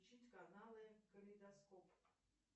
включить каналы калейдоскоп